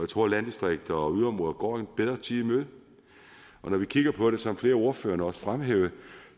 tror landdistrikter og yderområder går en bedre tid i møde og når vi kigger på det som flere af ordførerne også fremhævede